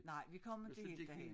Nej vi inte ik derhen